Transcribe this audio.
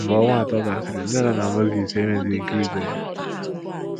Mgbe ọnwa atọ gasịrị, nne na nna Mozis enweghịzi ike ize ya.